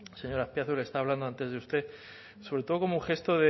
señor azpiazu estaba hablando antes de usted sobre todo como un gesto